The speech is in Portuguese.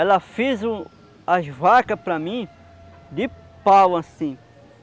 Ela fez as vacas para mim de pau, assim.